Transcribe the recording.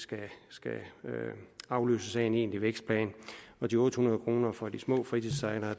afløses af en egen tlig vækstplan og de otte hundrede kroner for de små fritidssejlere